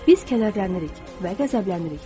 Biz kədərlənirik və qəzəblənirik.